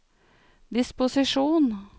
disposisjon